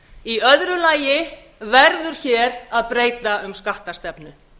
í öðru lagi verður hér að breyta um skattastefnu